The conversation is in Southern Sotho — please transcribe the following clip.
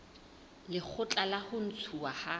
lekgotla la ho ntshuwa ha